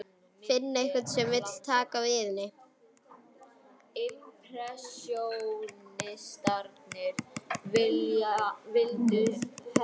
Finna einhvern sem vill taka við henni.